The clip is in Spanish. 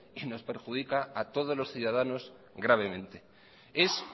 y nos perjudica a todos los ciudadanos gravemente es